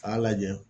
A y'a lajɛ